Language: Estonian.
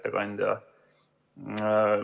Hea ettekandja!